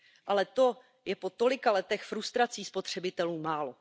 Ale to je po tolika letech frustrací spotřebitelů málo.